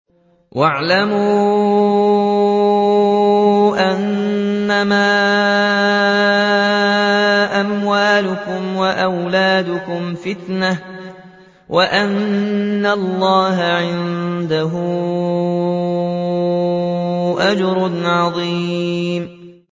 وَاعْلَمُوا أَنَّمَا أَمْوَالُكُمْ وَأَوْلَادُكُمْ فِتْنَةٌ وَأَنَّ اللَّهَ عِندَهُ أَجْرٌ عَظِيمٌ